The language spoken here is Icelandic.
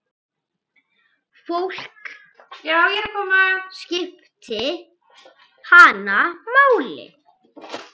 Fólk skipti hana máli.